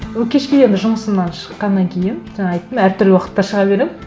ну кешке енді жұмысымнан шыққаннан кейін жаңа айттым әр түрлі уақытта шыға беремін